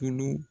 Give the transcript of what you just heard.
Tulu